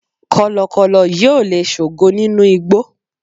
kọlọkọlọ yíò le sogo ninu igbó